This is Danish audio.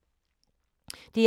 DR1